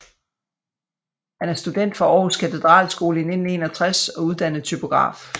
Han er student fra Aarhus Katedralskole i 1961 og uddannet typograf